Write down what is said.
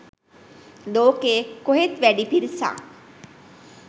ලෝකෙ කොහෙත් වැඩි පිරිසක්